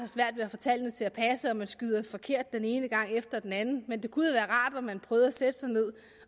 har man skyder forkert den ene gang efter den anden men det kunne være rart at man prøvede at sætte sig ned